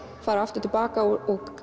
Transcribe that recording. fara aftur til baka og